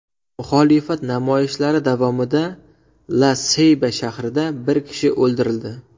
Muxolifat namoyishlari davomida La-Seyba shahrida bir kishi o‘ldirildi.